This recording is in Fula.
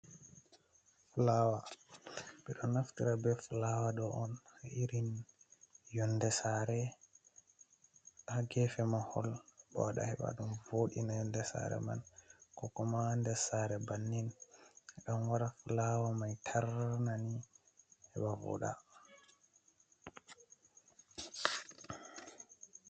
Fulawa ɓeɗo naftira be fulawa ɗo'on irin yoonde Sare, ha geefe mahol. Ɓe waɗa heɓa ɗum voodina yoonde Sare man, ko kuma nder Sare bannin. Ɗan waɗa fulawa mai tarnani heɓa vooɗa.